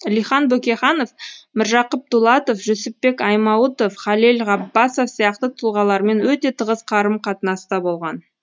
алихан бөкейханов міржақып дулатов жүсіпбек айтмауытов халел ғаббасов сияқты тұлғалармен өте тығыз қарым қатынаста болған